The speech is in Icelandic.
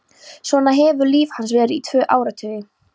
Svona hefur líf hans verið í tvo áratugi.